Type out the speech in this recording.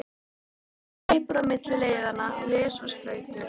Hringur hleypur á milli leiðanna, les og stautar.